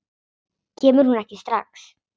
Kemur hún ekki strax?